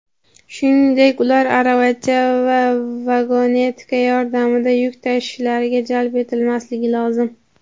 shuningdek ular aravacha va vagonetka yordamida yuk tashishlariga jalb etilmasligi lozim.